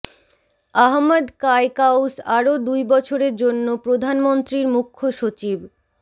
আহমদ কায়কাউস আরো দুই বছরের জন্য প্রধানমন্ত্রীর মুখ্য সচিব